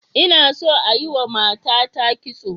Ina so a yiwa matata kitso.